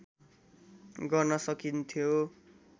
गर्न सकिन्थ्यो